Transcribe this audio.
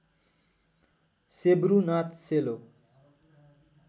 सेब्रु नाच सेलो